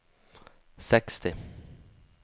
seksti